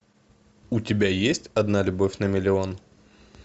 у тебя есть одна любовь на миллион